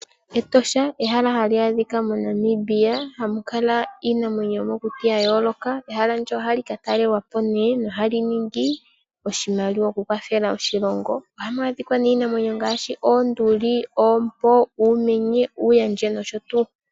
Etosha ehala hali adhika moNamibia hamukala iinamwenyo yomokuti yayooloka. Ehala ndyono ohali katalelwapo nee nohali ningi oshimaliwa okukwathela oshilongo. Ohamu adhika nee iinamwenyo ngaashi oonduli, oompo, uumenye, uuyandje nosho tuu.